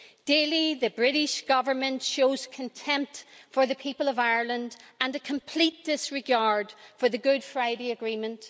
Daily, the British Government shows contempt for the people of Ireland and a complete disregard for the Good Friday Agreement.